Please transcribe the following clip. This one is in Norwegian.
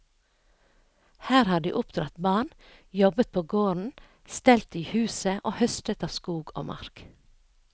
Her har de oppdratt barn, jobbet på gården, stelt i huset og høstet av skog og mark.